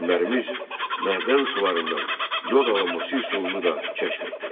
Alimlərimiz mədən sularından yod alınması üsulunu da kəşf etdilər.